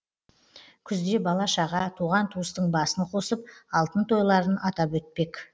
күзде бала шаға туған туыстың басын қосып алтын тойларын атап өтпек